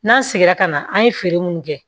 N'an seginna ka na an ye feere minnu kɛ